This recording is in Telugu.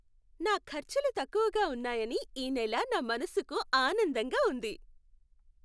నా ఖర్చులు తక్కువగా ఉన్నాయని ఈ నెల నా మనసుకు ఆనందంగా ఉంది.